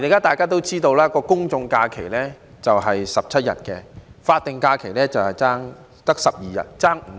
大家也知道，現時公眾假期是17天，法定假日只有12天，相差5天。